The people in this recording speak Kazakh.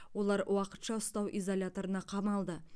олар уақытша ұстау изоляторына қамалды